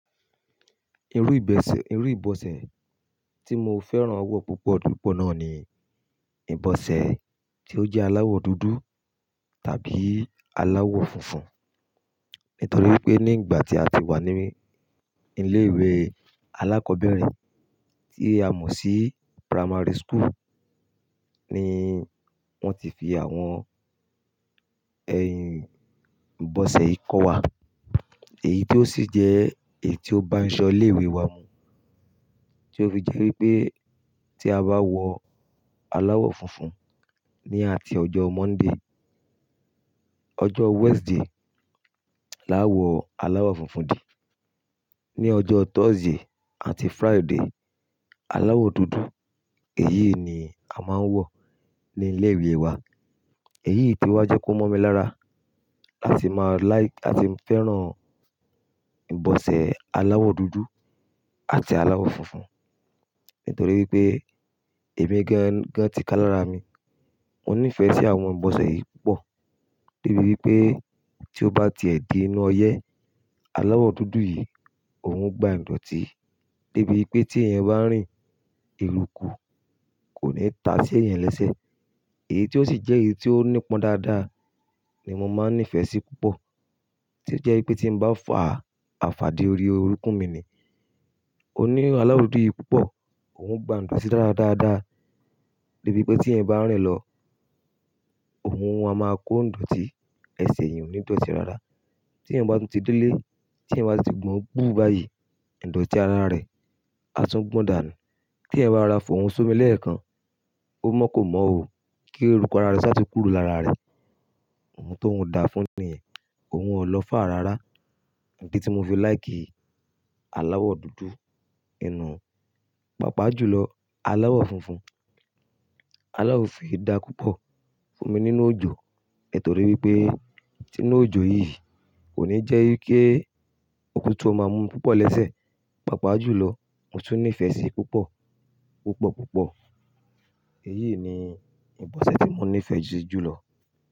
Irú ìbọsẹ̀, irú ìbọsẹ̀ tí mo fẹ́ràn wọ̀ púpọ̀ jù pọ̀ náà ni ìbọsẹ̀ tí ó jẹ́ aláwọ̀ dúdú tàbí aláwọ̀ funfun. Nítorí pé ní ìgbà tí a ti wà ní ilé ìwé alákọ̀ọ́bẹ̀rẹ̀, tí a mọ̀ sí primary school ni wón ti fi àwọn ẹyin ìbọsẹ̀ yìí kọ́ wa. Èyí tí ó sì jẹ́ èyí tí ó bá aṣo ilé ìwé wa mu. Tí ó fi jẹ́ wípé tí a bá wọ aláwọ̀ funfun ní àti ọjọ́ Monday, ọjọ́ Wednesday la wọ aláwọ̀ funfun di. Ni ọjọ́ Thursday àti Friday, aláwọ̀ dúdú, èyí ni a máa ń wọ̀ ní ilé ìwé wa. Èyí tí ó jẹ́ kó mọ́ mi lára. A sì máa láì, a sì ń fẹ́ràn ìbọsẹ̀ aláwọ̀ dúdú àti aláwọ̀ funfun. Nítorí pé èmi gan gan ti ká lára mi. Mo nífẹ̀ẹ́ sí àwọn ìbọsẹ̀ yìí púpọ̀. Débi wípé tí ó bá ti è di inú ọyẹ́, aláwọ̀ dúdú yìí ò ń gba ìdọ̀tí. Débi wípé tí ẹ̀yan bá rìn, eruku kò ní ta sí ẹ̀yan lẹ́sẹ̀. Èyí tí ó sì jẹ́ èyí tí ó nípọn dáadáa ni mo máa ń nífẹ̀ẹ́ sí púpọ̀. Tí ó jẹ́ wípé tí ń bá fà àfàdí orí orúnkún mi ni, òní aláwọ̀ dúdú yìí púpọ̀, òun ń gba ìdọ̀tí dára dáadáa. Débi wípé tí ẹ̀yan bá rìn lọ, òun a máa kó ìdọ̀tí, ẹsẹ̀ ẹ̀yin ò ní dọ̀tí dáadáa. Tí ẹ̀yan bá tu ti délé, tí ẹ̀yan bá ti gbọn bú bà yìí, ìdọ̀tí ara rẹ á tún gbọ̀n dànù. Kí ẹyan bá rora fòhún sómi leekan, ó mọ́ kó mọ́ o. Kí eruku ara rẹ sá ti kúrò lára rẹ. Ohun tóun da fún ni, òun lọ fà á rárá. Níbi tí mo fi láìkì aláwọ̀ dúdú inú, pàápàá jù lọ aláwọ̀ funfun. Aláwọ̀ funfun kii dà púpọ̀ fún mi nínú òjò. Nítorí wípé, tì inú òjò yìí kò ní jẹ́ wípé ko'tutu ó máa mú púpọ̀ lẹ́sẹ̀. Pàápàá jù lọ, mo tún nífẹ̀ẹ́ sí púpọ̀, púpọ̀ púpọ̀. Èyí ni ìbọsẹ̀ tí mo nífẹ̀ẹ́ sí jù lọ.